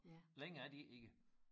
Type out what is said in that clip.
Længere er de ikke